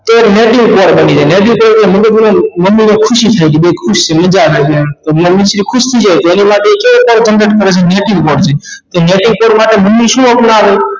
તે negative point બની જ negative point ઍટલે મન ની અંદર ખુશી થાય કે ખુશ છે મજા આવે છે એમ ખુશ થઈ જાય તેની માટે તે પણ native point છે કે native point માટે મમ્મી શું આપનાવે